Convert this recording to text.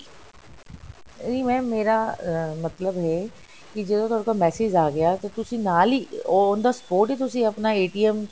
ਨਹੀਂ mam ਮੇਰਾ ਮਤਲਬ ਹੈ ਕਿ ਜਦੋਂ ਤੁਹਾਡੇ ਕੋਲ message ਆ ਗਿਆ ਤੇ ਤੁਸੀ ਨਾਲ ਹੀ on the spot ਹੀ ਤੁਸੀ ਆਪਣਾ